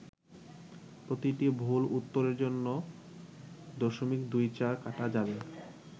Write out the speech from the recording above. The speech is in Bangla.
প্রতিটি ভুল উত্তরের জন্য .২৪ কাটা যাবে।